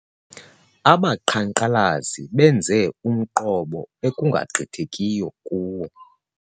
Abaqhankqalazi benze umqobo ekungagqithekiyo kuwo.